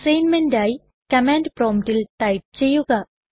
അസൈൻമെന്റായി command പ്രൊമ്പ്റ്റിൽ type ചെയ്യുക